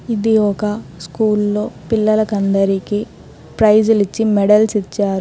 ఇది ఒక స్కూల్లో పిల్లలకందరికీ ప్రైజులిచ్చి మెడల్స్ ఇచ్చారు.